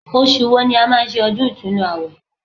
Osù wo ni a máa ń ṣe ọdún ìtúnu àwẹ̀